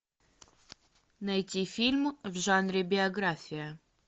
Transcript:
найти фильм в жанре биография